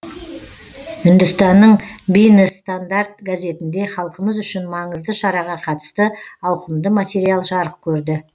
үндістанның бинес стандард газетінде халқымыз үшін маңызды шараға қатысты ауқымды материал жарық көрді